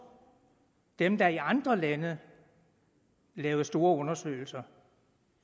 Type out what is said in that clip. dem der i andre lande lavede store undersøgelser